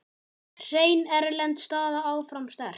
Hrein erlend staða áfram sterk.